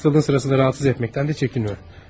Amma xəstəliyin sırasında narahat etməkdən də çəkinmir.